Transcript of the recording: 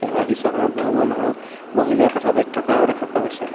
আৰু দৃশ্যখনত বহুবোৰ মানুহ বহি লৈ কথা পাতি থকাও দেখা পোৱা গৈছে।